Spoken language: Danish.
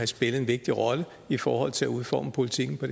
spillet en vigtig rolle i forhold til at udforme politikken på